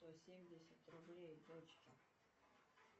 сто семьдесят рублей дочке